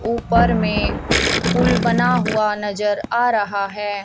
ऊपर में पुल बना हुआ नजर आ रहा है।